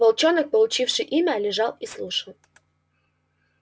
волчонок получивший имя лежал и слушал